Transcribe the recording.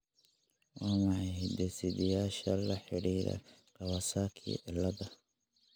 Waa maxay hidde-sideyaasha la xidhiidha Kawasaki ciladha?